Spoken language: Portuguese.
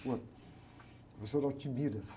professor.